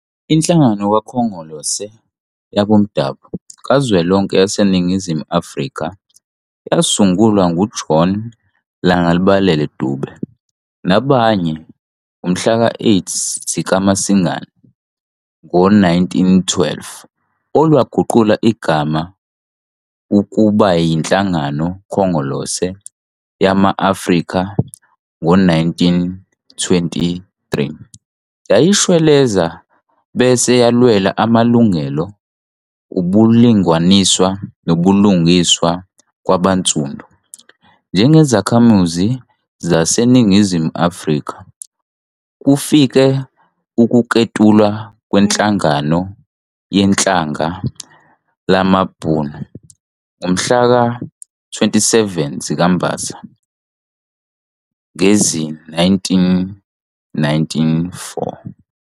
Inhlangano Khongolose Yabomdabo kaZwelonke YaseNingizimu Afrika yasungulwa ngu-John Langalibalele Dube nabanye ngomhlaka-8 zikaMasingana ngezi-1912, olwaguqula igama ukubayi-Nhlangano Khongolose Yama-Afrika ngezi-1923, yayishwelezela bese yalwela amalungelo, ubulinganiswa nobulungiswa kwabansundu njengezakhamuzi xaseNingizimu Afrika kufikela ukuketulwa kweNhlangano Yehlanga lamaBhunu ngomhlaka-27 zikaMbasa ngezi-1994.